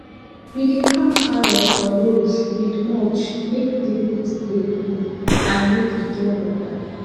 we dey farm carrot for rows with mulch make the roots dey cold and make e get water